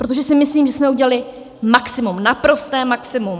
Protože si myslím, že jsme udělali maximum, naprosté maximum.